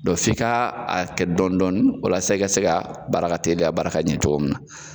f'i ka a kɛ dɔɔni dɔɔn walasa i ka se ka baara ka teliya baara ka ɲɛ cogo min na.